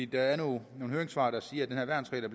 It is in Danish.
der er nogle høringssvar der siger at den her værnsregel